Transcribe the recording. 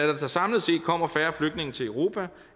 der samlet set kommer færre flygtninge til europa